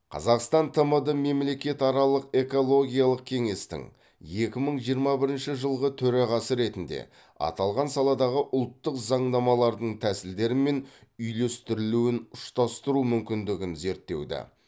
қазақстан тмд мемлекетаралық экологиялық кеңестің екі мың жиырма бірінші жылғы төрағасы ретінде аталған саладағы ұлттық заңнамалардың тәсілдері мен үйлестірілуін ұштастыру мүмкіндігін зерттеуді